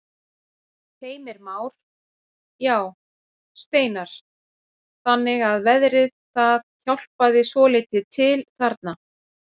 Heimir Már: Já, Steinar, þannig að veðrið það hjálpaði svolítið til þarna?